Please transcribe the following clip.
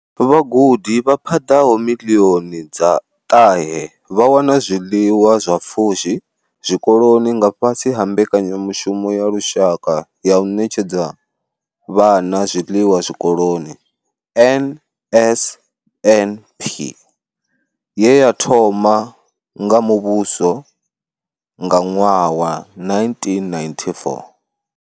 Vhagudi vha paḓaho miḽioni dza ṱahe vha wana zwiḽiwa zwa pfushi zwikoloni nga fhasi ha mbekanyamushumo ya lushaka ya u ṋetshedza vhana zwiḽiwa zwikoloni NSNP, ye ya thoma nga muvhuso nga ṅwaha wa 1994.